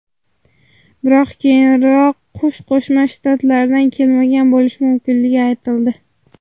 Biroq keyinroq qush Qo‘shma Shtatlardan kelmagan bo‘lishi mumkinligi aytildi.